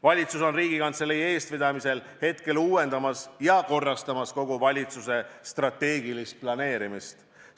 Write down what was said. Valitsus on Riigikantselei eestvedamisel uuendamas ja korrastamas kogu valitsuse strateegilist planeerimist.